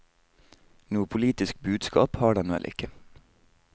Noe politisk budskap har den vel ikke.